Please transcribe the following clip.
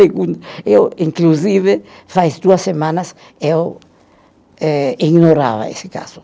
Eu inclusive, faz duas semanas, eu eh ignorava esse caso.